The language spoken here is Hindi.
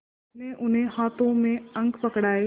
उसने उन्हें हाथों में अंक पकड़ाए